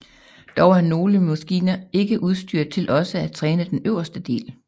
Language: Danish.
Dog er nogle maskiner ikke udstyret til også at træne den øverste del